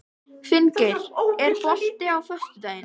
Finngeir, er bolti á föstudaginn?